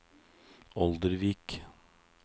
Oldervik